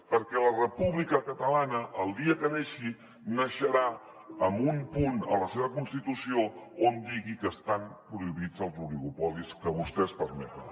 perquè la república catalana el dia que neixi naixerà amb un punt a la seva constitució on digui que estan prohibits els oligopolis que vostès permeten